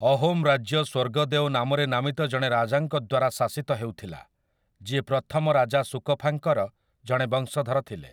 ଅହୋମ୍ ରାଜ୍ୟ ସ୍ୱର୍ଗଦେଓ ନାମରେ ନାମିତ ଜଣେ ରାଜାଙ୍କଦ୍ୱାରା ଶାସିତ ହେଉଥିଲା ଯିଏ ପ୍ରଥମ ରାଜା ସୁକଫାଙ୍କର ଜଣେ ବଂଶଧର ଥିଲେ ।